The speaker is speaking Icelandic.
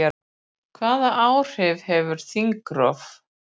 Hvaða áhrif hefur þingrof?